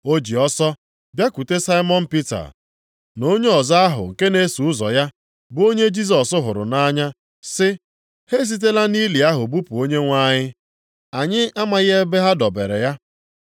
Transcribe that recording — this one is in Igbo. O ji ọsọ bịakwute Saimọn Pita na onye ọzọ ahụ nke na-eso ụzọ ya, bụ onye Jisọs hụrụ nʼanya sị, “Ha esitela nʼili ahụ bupụ Onyenwe anyị. Anyị amaghị ebe ha dobere ya!”